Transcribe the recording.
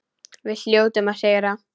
Við hljótum að sigra